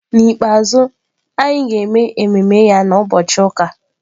N'ikpeazụ, anyị ga-eme ememe ya na Ubọchi uka.